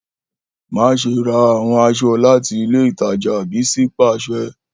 Maṣe ra awọn aṣọ lati ile itaja Bisi paṣẹ!